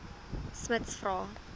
smuts vra